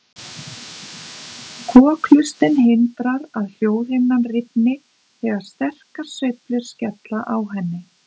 Kokhlustin hindrar að hljóðhimnan rifni þegar sterkar sveiflur skella á henni.